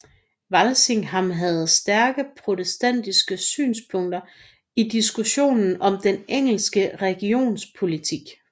Walsingham havde stærke protestantiske synspunkter i diskussionen om den engelske religionspolitik